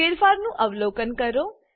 ફેરફારનું અવલોકન કરો